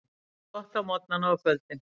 Gott á morgnana og kvöldin.